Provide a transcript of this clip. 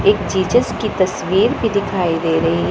एक जीसस की तस्वीर भी दिखाई दे रही ह।